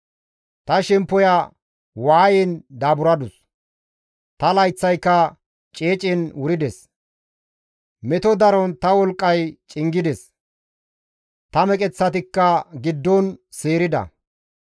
Ta shemppoya waayen daaburadus; ta layththayka ceecen wurides. Meto daron ta wolqqay cingides; ta meqeththatikka giddon seerida.